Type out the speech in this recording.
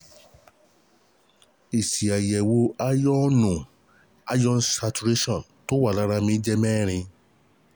Èsì àyẹ̀wò aáyọ́ọ̀nù iron saturation tó wà lára mi jẹ́ mẹ́rin four